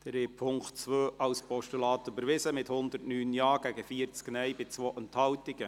Sie haben den Punkt 2 als Postulat überweisen, mit 109 Ja- gegen 40 Nein-Stimmen bei 2 Enthaltungen.